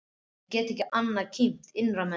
Ég get ekki annað en kímt innra með mér.